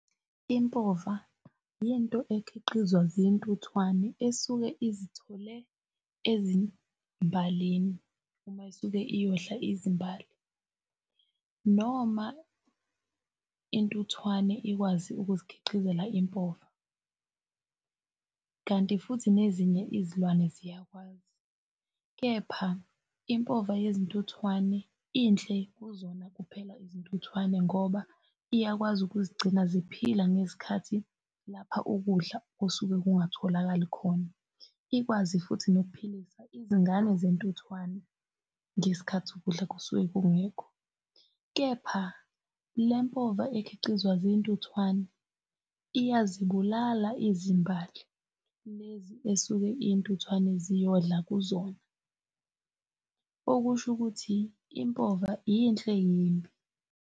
Impova yinto ekhiqizwa zintuthwane esuke izithole ezimbalini, uma isuke iyodla izimbali noma intuthwane ikwazi ukuzikhiqizela impova, kanti futhi nezinye izilwane ziyakwazi, kepha impova yezintuthwane inhle kuzona kuphela izintuthwane ngoba iyakwazi ukuzigcina ziphila ngezikhathi lapha ukudla osuke kungatholakali khona. Ikwazi futhi nokuphilisa izingane zentuthwane ngesikhathi ukudla kusuke kungekho. Kepha lempova ekhiqizwa zintuthwane iyazibulala izimbali lezi esuke iy'ntuthwane ziyodla kuzona, okusho ukuthi impova yinhle, yimbi.